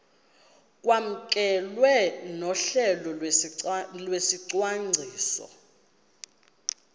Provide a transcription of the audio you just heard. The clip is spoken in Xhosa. kwamkelwe nohlelo lwesicwangciso